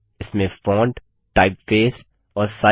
इसमें font typeface और size